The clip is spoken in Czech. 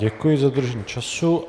Děkuji za dodržení času.